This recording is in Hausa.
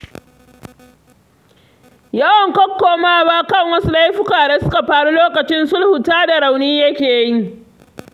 Yawan kokkomawa kan wasu laifuka da suka faru lokacin sulhu tada rauni yake yi.